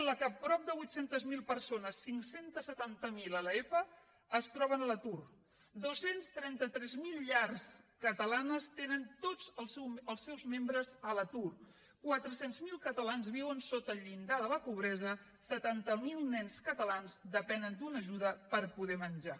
en la qual prop de vuit cents miler persones cinc cents i setanta miler a l’epa es troben a l’atur dos cents i trenta tres mil llars catalanes tenen tots els seus membres a l’atur quatre cents miler catalans viuen sota el llindar de la pobresa setanta miler nens catalans depenen d’una ajuda per poder menjar